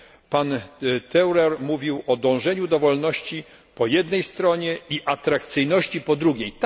Pan Theurer mówił o dążeniu do wolności po jednej stronie i atrakcyjności po drugiej.